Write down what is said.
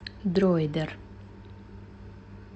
дроидер